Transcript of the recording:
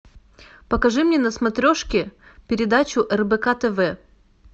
покажи мне на смотрешке передачу рбк тв